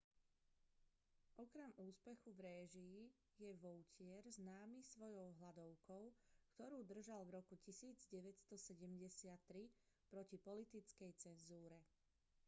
okrem úspechu v réžii je vautier známy svojou hladovkou ktorú držal v roku 1973 proti politickej cenzúre